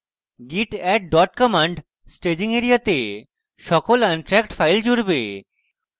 git add dot command staging এরিয়াতে সকল untracked files জুড়বে